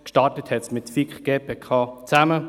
Gestartet hat es mit der FiKo und der GPK zusammen.